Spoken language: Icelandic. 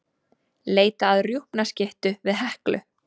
Leita að rjúpnaskyttu við Heklu